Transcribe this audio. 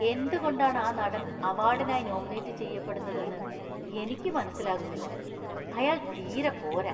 എന്തുകൊണ്ടാണ് ആ നടൻ അവാർഡിനായി നോമിനേറ്റ് ചെയ്യപ്പെടുന്നതെന്ന് എനിക്ക് മനസ്സിലാകുന്നില്ല. അയാൾ തീരെ പോരാ.